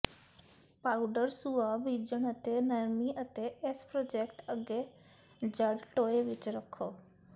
powder ਸੁਆਹ ਬੀਜਣ ਅਤੇ ਨਰਮੀ ਅਤੇ ਇਸ ਪ੍ਰੋਜਕਟ ਅੱਗੇ ਜੜ੍ਹ ਟੋਏ ਵਿੱਚ ਰੱਖੋ